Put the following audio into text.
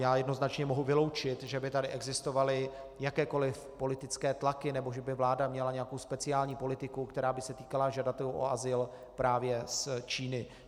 Já jednoznačně mohu vyloučit, že by tady existovaly jakékoliv politické tlaky nebo že by vláda měla nějakou speciální politiku, která by se týkala žadatelů o azyl právě z Číny.